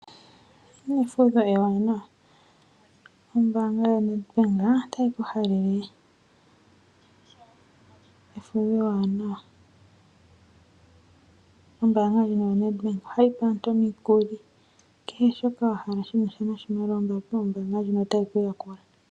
Efudho ewanawa, ombaanga ya Nedbank otayi ku halele efudho ewanawa. Ombaanga ndjino ya Nedbank ohayi pe aantu omukuli kehe shoka shina sha noshimaliwa ombaanga ndjino otayi ku yakula.